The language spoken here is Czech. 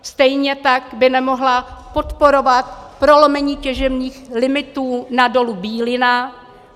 Stejně tak by nemohla podporovat prolomení těžebních limitů na dole Bílina.